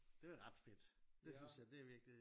Det er ret fedt det synes jeg det er virkelig